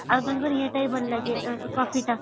ଆଉ ତାଙ୍କ ଇଏ ଟା ବି ଭଲ ଲାଗେ coffee ଟା